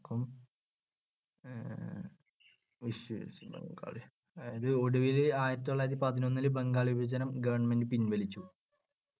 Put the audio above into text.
ഒടുവിൽ ആയിരത്തിതൊള്ളായിരത്തിപതിനൊന്നിൽ ബംഗാൾ വിഭജനം government പിൻവലിച്ചു